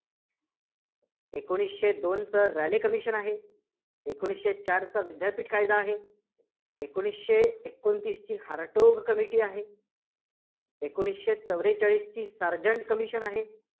एकोणीसशे दोनचं Raleigh Commission आहे. एकोणीसशे चारचं विद्यापीठ कायदा आहे, एकोणीसशे एकोणतीसची हारटोग Committee आहे, एकोणसीशे चव्वेचाळीसची सार्जंट Commission आहे.